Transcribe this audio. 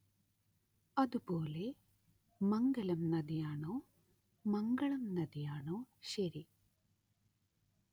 അതുപോലെ മംഗലം നദി ആണോ മംഗളം നദി ആണോ ശരി